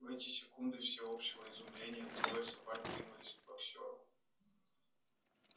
в эти секунды всеобщего изумления трое собак кинулись к боксёру